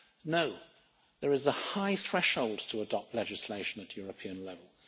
No, there is a high threshold to adopt legislation at European level.